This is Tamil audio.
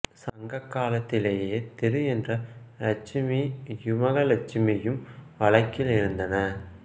சங்க காலத்திலேயே திரு என்ற இலட்சுமியும கஜலட்சுமியும் வழக்கில் இருந்தன